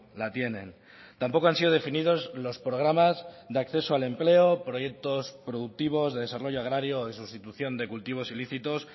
la tienen tampoco han sido definidos los programas de acceso al empleo proyectos productivos de desarrollo agrario de sustitución de cultivos ilícitos